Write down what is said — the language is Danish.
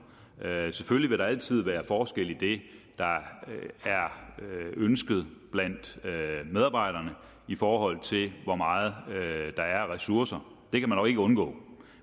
selvfølgelig vil der altid være forskelle i det der er ønsket blandt medarbejderne i forhold til hvor meget der er af ressourcer det kan man jo ikke undgå